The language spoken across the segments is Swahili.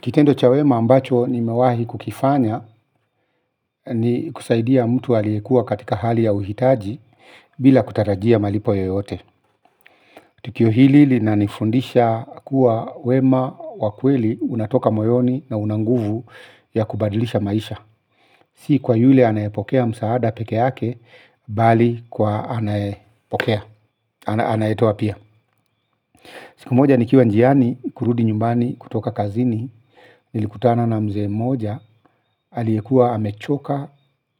Kitendo cha wema ambacho nimewahi kukifanya ni kusaidia mtu aliyekuwa katika hali ya uhitaji bila kutarajia malipo yoyote. Tukio hili linanifundisha kuwa wema wa kweli unatoka moyoni na una nguvu ya kubadilisha maisha. Si kwa yule anayepokea msaada peke yake bali kwa anayepokea, anayetoa pia. Siku moja nikiwa njiani kurudi nyumbani kutoka kazini, nilikutana na mzee moja, aliyekuwa amechoka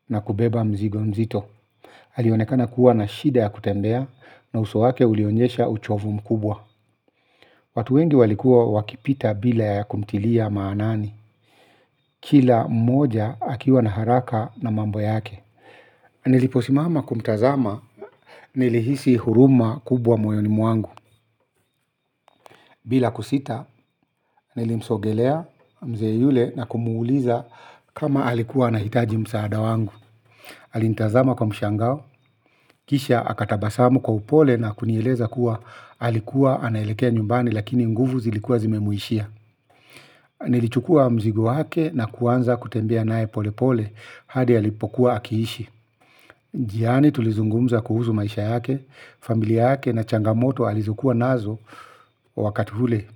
na kubeba mzigo mzito. Alionekana kuwa na shida ya kutembea na uso wake ulionyesha uchovu mkubwa. Watu wengi walikuwa wakipita bila ya kumtilia maanani. Kila mmoja akiwa na haraka na mambo yake. Niliposimama kumtazama nilihisi huruma kubwa moyoni mwangu bila kusita, nilimsogelea mzee yule na kumuuliza kama alikuwa anahitaji msaada wangu. Alinitazama kwa mshangao, kisha akatabasamu kwa upole na kunieleza kuwa alikuwa anaelekea nyumbani lakini nguvu zilikuwa zimemuishia. Nilichukua mzigo wake na kuanza kutembea naye pole pole hadi alipokuwa akiishi. Njiani tulizungumza kuhusu maisha yake, familia yake na changamoto alizokuwa nazo wakati ule.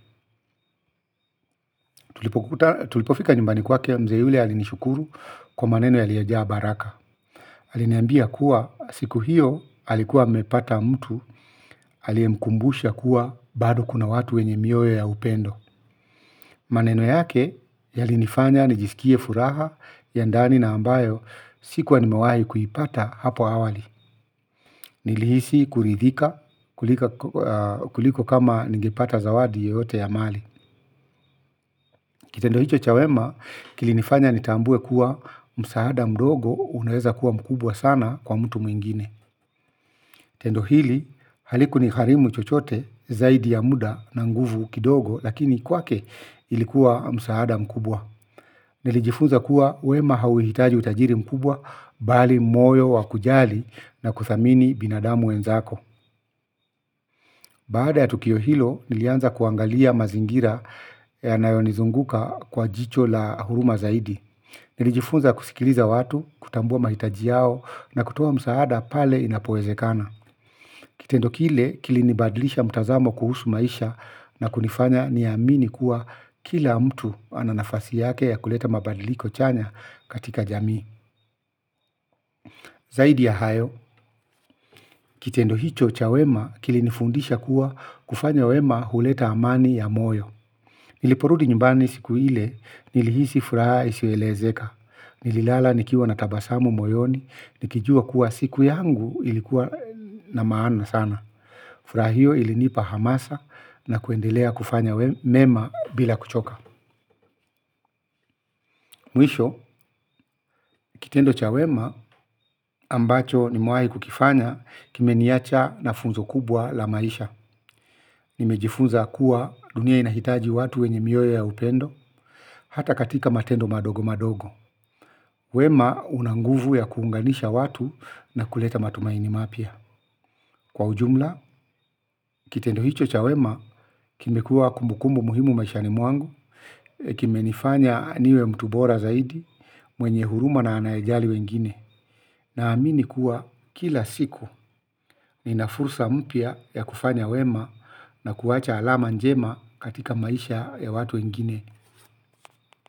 Tulipofika nyumbani kwake mzee yule alinishukuru kwa maneno yaliyojaa baraka. Aliniambia kuwa siku hiyo alikuwa amepata mtu aliyemkumbusha kuwa bado kuna watu wenye mioyo ya upendo maneno yake yalinifanya nijisikie furaha ya ndani na ambayo sikuwa nimewahi kuipata hapo awali nilihisi kuridhika kuliko kama ningepata zawadi yoyote ya mali kitendo hicho cha wema kilinifanya nitambue kuwa msaada mdogo unaweza kuwa mkubwa sana kwa mtu mwingine. Tendo hili, halikunigharimu chochote, zaidi ya muda na nguvu kidogo, lakini kwake ilikuwa msaada mkubwa. Nilijifunza kuwa wema hauhitaji utajiri mkubwa, bali moyo wakujali na kuthamini binadamu wenzako. Baada ya tukio hilo, nilianza kuangalia mazingira yanayonizunguka kwa jicho la huruma zaidi. Nilijifunza kusikiliza watu, kutambua mahitaji yao na kutoa msaada pale inapowezekana. Kitendo kile kilinibadlisha mtazamo kuhusu maisha na kunifanya niamini kuwa kila mtu ana nafasi yake ya kuleta mabadiliko chanya katika jamii. Zaidi ya hayo, kitendo hicho cha wema kilinifundisha kuwa kufanya wema huleta amani ya moyo. Niliporudi nyumbani siku ile nilihisi furaha isiyoelezeka. Nililala nikiwa na tabasamu moyoni, nikijua kuwa siku yangu ilikuwa na maana sana. Furaha hiyo ilinipa hamasa na kuendelea kufanya mema bila kuchoka. Mwisho, kitendo cha wema ambacho nimewahi kukifanya kimeniacha na funzo kubwa la maisha. Nimejifunza kuwa dunia inahitaji watu wenye mioyo ya upendo, hata katika matendo madogo madogo. Wema una nguvu ya kuunganisha watu na kuleta matumaini mapya. Kwa ujumla, kitendo hicho cha wema, kimekuwa kumbukumbu muhimu maishani mwangu, kimenifanya niwe mtu bora zaidi mwenye huruma na anayejali wengine. Naamini kuwa kila siku nina fursa mpya ya kufanya wema na kuwacha alama njema katika maisha ya watu wengine.